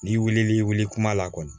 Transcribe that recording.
N'i wilil'i wili kuma la kɔni